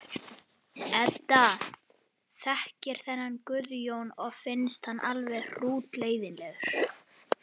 Edda þekkir þennan Guðjón og finnst hann alveg hrútleiðinlegur.